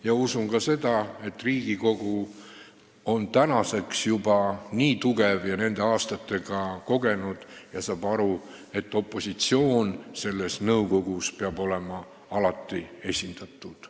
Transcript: Ma usun ka seda, et Riigikogu on tänaseks juba nii tugev, ta on nende aastatega nii kogenud ja saab aru, et opositsioon peab selles nõukogus olema alati esindatud.